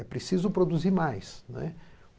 É preciso produzir mais.